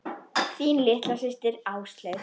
Þín litla systir, Áslaug.